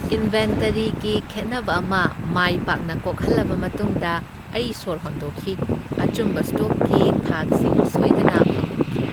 ꯏꯟꯚꯦꯟꯇꯔꯤꯒꯤ ꯈꯦꯠꯅꯕ ꯑꯃ ꯃꯥꯏ ꯄꯥꯛꯅ ꯀꯣꯛꯍꯜꯂꯕ ꯃꯇꯨꯡꯗ ꯑꯩ ꯁꯣꯔ ꯍꯣꯟꯗꯣꯛꯈꯤ, ꯑꯆꯨꯝꯕ ꯁ꯭ꯇꯣꯛꯀꯤ ꯊꯥꯛꯁꯤꯡ ꯁꯣꯏꯗꯅ ꯐꯪꯍꯟꯈꯤ꯫